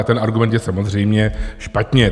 A ten argument je samozřejmě špatně.